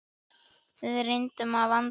Við reynum að vanda okkur.